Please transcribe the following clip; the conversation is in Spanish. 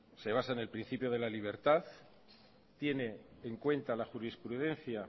se basa en el principio de la libertad tiene cincuenta la jurisprudencia